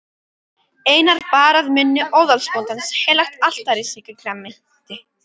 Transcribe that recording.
Einar bar að munni óðalsbóndans heilagt altarissakramenti.